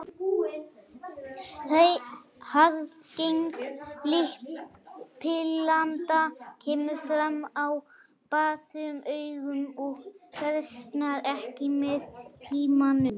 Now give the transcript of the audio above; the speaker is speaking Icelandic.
Arfgeng litblinda kemur fram á báðum augum og versnar ekki með tímanum.